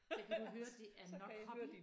Der kan du høre det er nok hobby